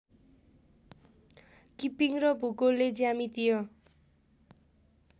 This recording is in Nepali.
किपिङ्ग र भूगोलले ज्यामितीय